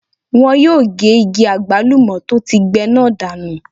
Wọ́n yóò ge igi àgbálùmọ́ tó ti gbẹ náà dànù.